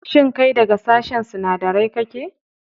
Shin kai daga sashen sinadarai kake?